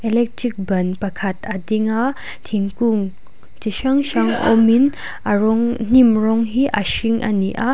electric ban pakhat a ding a thingkung chi hrang hrang awmin a rawng hnim rawng hi a hring a ni a.